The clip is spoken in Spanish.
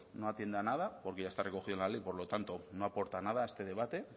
no atiende a nada porque ya está recogido en la ley por lo tanto no aporta nada a este debate